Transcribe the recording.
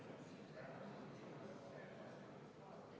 Kuna eelnõu kohta muudatusettepanekuid esitatud ei ole, saame minna lõpphääletuse juurde.